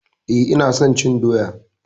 Eh ina son cin doya.